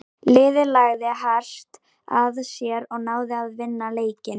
Liðið lagði hart að sér og náði að vinna leikinn.